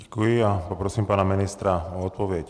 Děkuji a poprosím pana ministra o odpověď.